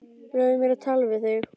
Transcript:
Leyfðu mér að tala við þig!